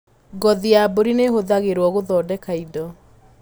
Ngothi ya mbũri nĩihũthĩragwo gũthondeka indo.